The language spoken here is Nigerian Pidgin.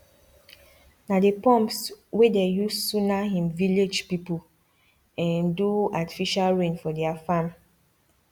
na the pumps wey dey use sunna him village people um do artificial rain for their farm